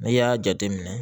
N'i y'a jateminɛ